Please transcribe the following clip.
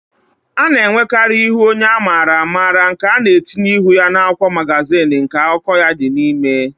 A na-enwekarì ihu onye a maara amara nke a na-etinye n'ihu akwụkwọ magazin nke akụkọ ya dị n'ime